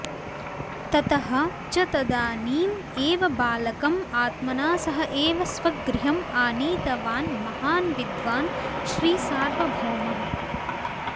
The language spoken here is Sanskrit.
ततः च तदानीम् एव बालकं आत्मना सह एव स्वगृहम् आनीतवान् महान् विद्वान् श्रीसार्वभौमः